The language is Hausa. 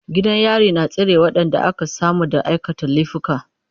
Gidan yari na tsare waɗanda aka samu da aikata laifuka.